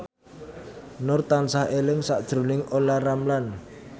Nur tansah eling sakjroning Olla Ramlan